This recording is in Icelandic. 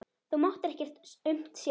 Þú máttir ekkert aumt sjá.